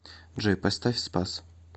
джой поставь спас